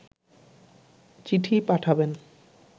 চিঠি পাঠাবেন